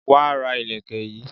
Wá ra Ìlẹ̀kẹ̀ yi